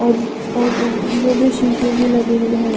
और और में शीशे भी लगे हुए हैं।